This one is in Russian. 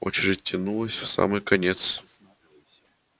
очередь тянулась в самый конец